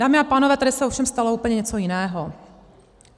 Dámy a pánové, tady se ovšem stalo úplně něco jiného.